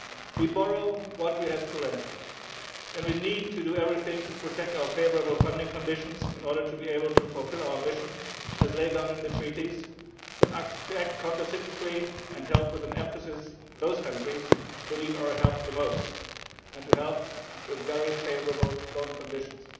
We borrow what we have to lend, and we need to do everything to protect our favourable funding conditions in order to be able to fulfil our mission, as laid down in the Treaties, to act counter cyclically and help particularly those countries which need our help the most and to help with very favourable loan conditions.